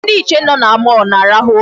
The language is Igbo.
Ndị nche nọ na mall na-arahụ ụra.